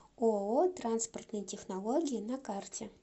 ооо транспортные технологии на карте